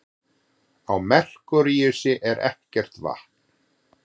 Á Merkúríusi er ekkert vatn.